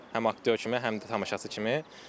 Həm aktyor kimi, həm də tamaşaçı kimi.